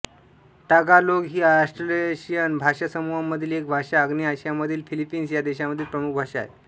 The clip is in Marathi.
तगालोग ही ऑस्ट्रोनेशियन भाषासमूहामधील एक भाषा आग्नेय आशियामधील फिलिपिन्स ह्या देशामधील प्रमुख भाषा आहे